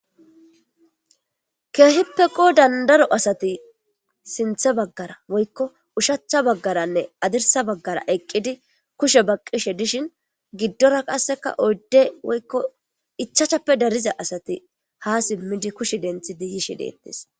Kehippe qoddani darro assati sinitha baggaranne woyiko ushacha baggararanne hadirissa baggara eqidi kushe baqishe dishin gidora qassi ichashu assati yishe dossona